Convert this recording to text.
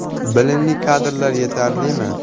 Bilimli kadrlar yetarlimi?